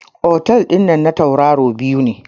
Otel dinnan na tauraro biyar ne.